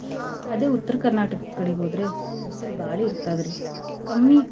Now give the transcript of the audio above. ಅದೇ Uttara Karnataka ಕಡೀಗ್ಹೋದ್ರೆ ಬಿಸಲ್ ಬಾಳ್ ಇರ್ತದ್ರಿ ಕಮ್ಮಿ.